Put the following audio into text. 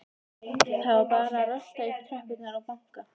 Það var bara að rölta upp tröppurnar og banka.